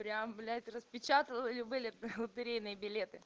прям блять распечатала или были лотерейные билеты